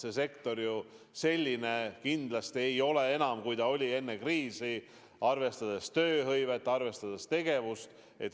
See sektor enam selline kindlasti ei ole, nagu ta oli enne kriisi – arvestades tööhõivet, arvestades tegevust.